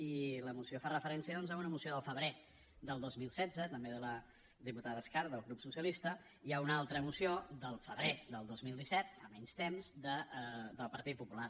i la moció fa referència doncs a una moció del febrer del dos mil setze també de la diputada escarp del grup socialista i a una altra moció del febrer del dos mil disset fa menys temps del partit popular